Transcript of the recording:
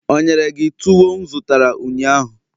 o nyere gi tuwo m zụtara ụnyaahụ?